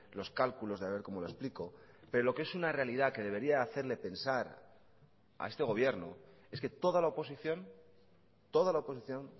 los cálculos de haber cómo lo explico pero lo que es una realidad que debería hacerle pensar a este gobierno es que toda la oposición toda la oposición